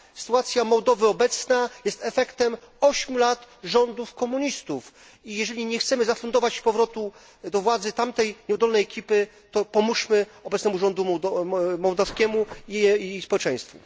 Obecna sytuacja Mołdawii jest efektem ośmiu lat rządów komunistów i jeżeli nie chcemy zafundować powrotu do władzy tamtej nieudolnej ekipy, to pomóżmy obecnemu rządowi mołdawskiemu i społeczeństwu.